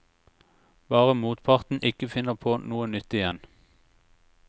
Bare motparten ikke finner på noe nytt igjen.